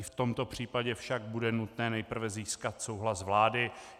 I v tomto případě však bude nutné nejprve získat souhlas vlády.